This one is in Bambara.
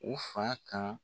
U fa kan.